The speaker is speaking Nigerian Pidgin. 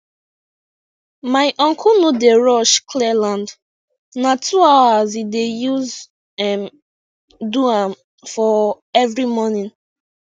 my uncle no dey rush clear land na two hours e dey use um do am for every morning